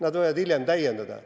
Nemad võivad mind hiljem täiendada.